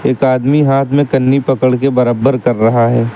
एक आदमी हाथ में कन्नी पकड़ के बरबर कर रहा है।